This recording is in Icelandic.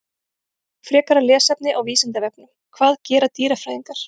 Frekara lesefni á Vísindavefnum: Hvað gera dýrafræðingar?